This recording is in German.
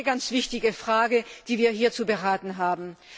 Und das ist eine ganz wichtige Frage, die wir hier zu beraten haben.